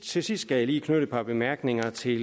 til sidst skal jeg lige knytte et par bemærkninger til